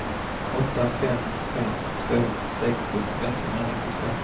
åtta fem fem två sextio etthundranittiotvå